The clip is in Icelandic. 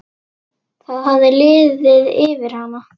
Það hafði liðið yfir hana!